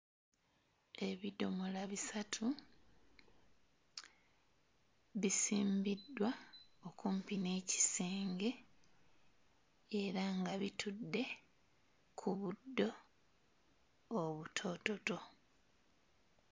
Ebidomola bisatu bisimbiddwa okumpi n'ekisenge era nga bitudde ku buddo obutoototo.